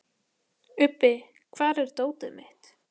Ubbi, hvar er dótið mitt?